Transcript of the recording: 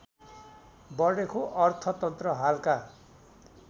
बढेको अर्थतन्त्र हालका